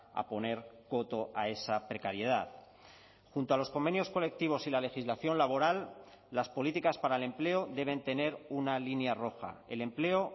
a poner coto a esa precariedad junto a los convenios colectivos y la legislación laboral las políticas para el empleo deben tener una línea roja el empleo